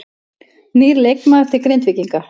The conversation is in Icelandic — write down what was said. Nýr leikmaður til Grindvíkinga